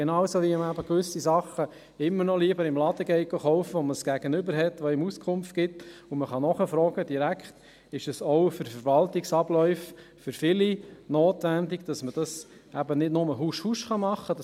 Genauso wie man eben gewisse Dinge immer noch lieber im Laden kauft, wo man ein Gegenüber hat, das einem Auskunft gibt, sodass man direkt nachfragen kann, ist es auch bei Verwaltungsabläufen für viele notwendig, dass man diese nicht nur husch, husch abwickeln kann.